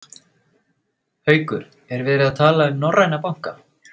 Haukur: Er verið að tala við norræna banka?